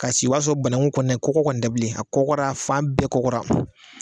Ka si o b'a sɔ banangun kɔni kɔgɔ kɔni tɛ bilen a kɔgɔra fan bɛɛ kɔgɔra.